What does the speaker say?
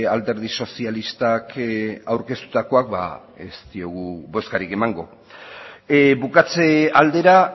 alderdi sozialistak aurkeztutakoak ez diogu bozkarik emango bukatze aldera